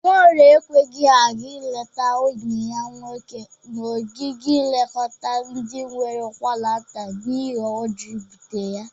Nwaorie ekweghi aga eleta enyi ya nwoke n'ogige nlekọta ndị nwere ụkwaranta n'ihe ọjọ ibụte ya.